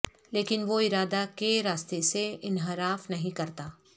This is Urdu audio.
لیکن وہ ارادہ کے راستے سے انحراف نہیں کرتا